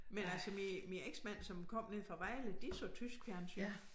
Men altså min min eksmand som kom nede fra Vejle de så tysk fjernsyn